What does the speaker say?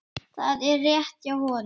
Það er rétt hjá honum.